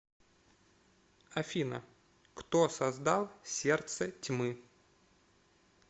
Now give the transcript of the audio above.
афина кто создал сердце тьмы